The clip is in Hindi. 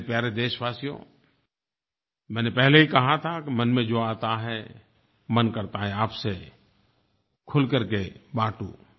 मेरे प्यारे देशवासियो मैंने पहले ही कहा था कि मन में जो आता है मन करता है आपसे खुल करके बांटूं